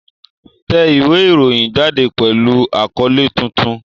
Tẹ ìwé ìròyìn jáde pẹ̀lú àkọ́lé tuntun!